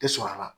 Tɛ sɔrɔ a la